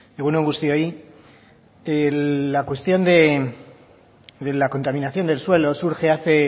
egun on guztioi la cuestión de la contaminación del suelo surge hace